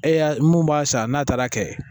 E y'a mun b'a san n'a taara kɛ